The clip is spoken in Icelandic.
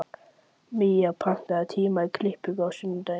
Mía, pantaðu tíma í klippingu á sunnudaginn.